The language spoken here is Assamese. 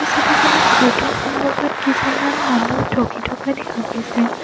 এই ছবিখনত ঘৰটোৰ সন্মুখত কেইজনমান মানুহ ৰখি থকা দেখা গৈছে।